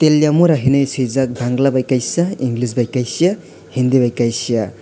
talimura henui swijak bangla bi kaiisa english bhy kaisa hindi bai kaisa.